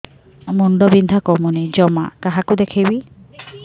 ମୁଣ୍ଡ ବିନ୍ଧା କମୁନି ଜମା କାହାକୁ ଦେଖେଇବି